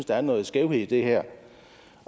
der er noget skævt i det her